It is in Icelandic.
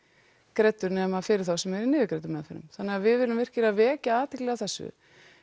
greiddur nema fyrir þá sem eru í niðurgreiddum meðferðum þannig við viljum virkilega vekja athygli á þessu